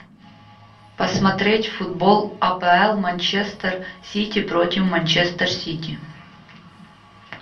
посмотреть футбол апл манчестер сити против манчестер сити